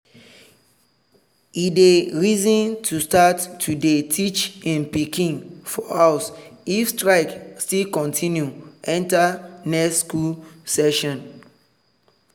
e dey reason to start to day teach hin piken for house if strike still continue enter next school session.